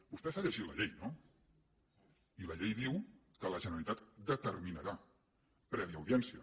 vostè s’ha llegit la llei no i la llei diu que la generalitat ho determinarà prèvia audiència